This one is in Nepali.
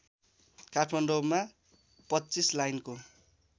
काठमाडौँमा २५ लाइनको